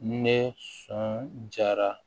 Ne sɔn jara